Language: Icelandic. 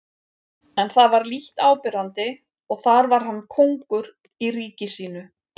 En það var lítt áberandi og þar var hann kóngur í ríki sínu.